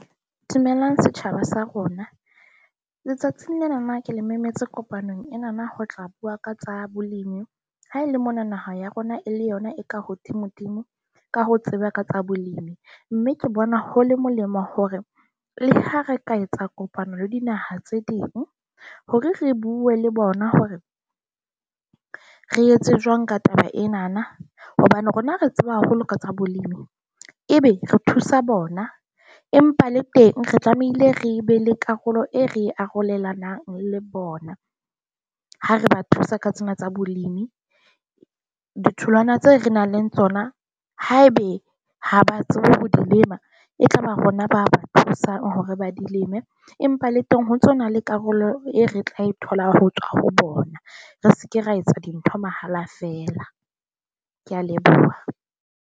Dumelang, setjhaba sa rona. Letsatsing lenana ke le memetse kopanong enana ho tla bua ka tsa bolemi. Haele mona naha ya rona e le yona e ka hodimodimo ka ho tseba ka tsa bolipi , mme ke bona ho le molemo hore le ha re ka etsa kopano le dinaha tse ding hore re bue le bona hore re etse jwang ka taba enana hobane rona re tseba haholo ka tsa bolemi, ebe re thusa bona empa le teng re tlamehile re be le karolo e re arolelanang le bona ha re ba thusa ka tsena tsa bolemi. Ditholwana tseo re nang le tsona, haebe ha ba tsebe ho dilema. E tla ba rona ba thusang hore ba dilemo empa le teng ho tsona le karolo e re tla e thola ho tswa ho bona. Re se ke ra etsa dintho mahala feela. Ke a leboha.